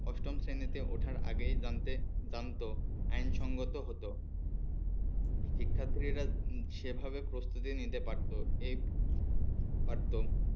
অষ্টম শ্রেণীতে ওঠার আগেই জানতে জানতো আইনসঙ্গত হতো শিক্ষার্থীরা সেভাবে প্রস্তুতি নিতে পারতো এ পারতো